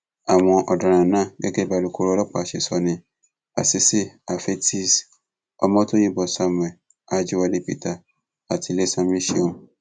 àwọn ọdaràn náà gẹgẹ bí alukóró ọlọpàá ṣe sọ ni lásìsí àfetéez ọmọtọyìnbó samuel ajẹwọlé peter àti ilésànmí ṣẹun